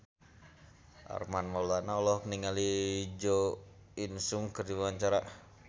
Armand Maulana olohok ningali Jo In Sung keur diwawancara